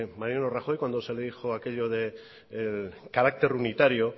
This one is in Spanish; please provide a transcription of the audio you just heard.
mariano rajoy cuando de le dijo aquello de carácter unitario